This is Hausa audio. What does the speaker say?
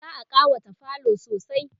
za'a ƙawata falo sosai